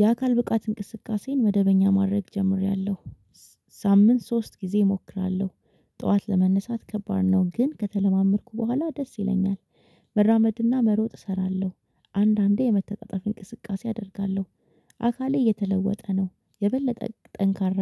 የአካል ብቃት እንቅስቃሴን መደበኛ ማድረግ ጀምሬያለሁ። በሳምንት ሶስት ጊዜ እሞክራለሁ ጠዋት ለመነሳት ከባድ ነው ግን ከተለማመድኩ በኋላ ደስ ይለኛል። መራመድ እና መሮጥ እሰራለሁ አንዳንዴ የመተጣጠፍ እንቅስቃሴ አደርጋለሁ። አካሌ እየተለወጠ ነው የበለጠ ጠንካራ